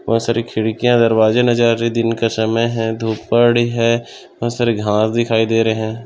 बहुत सारे खिड़कियाँ दरवाजे नजर आ रहे है दिन का समय है धूप पड़ी है बहुत सारे घाँस दिखाई दे रहे है।